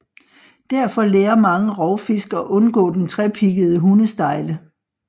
Derfor lærer mange rovfisk at undgå den trepiggede hundestejle